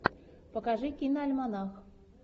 покажи киноальманах